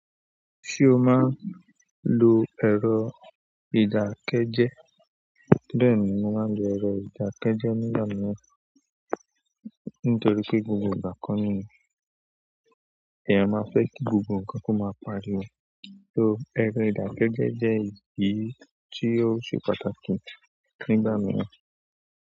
Ṣé o máa ń lo ẹ̀rọ ìdákẹ́jẹ́? Bẹ́ẹ̀ni, mo máa ń lo ẹ̀rọ ìdákẹ́jẹ́ nígbà mìíràn, nítorí pé gbogbo ìgbà ko ni èèyàn máa fẹ́ kí gbogbo ǹkan kó máa pariwo. So, ẹ̀rọ ìdákẹ́jẹ́ jẹ́ èyí tí ó ṣe pàtàkì nígbà mìíràn.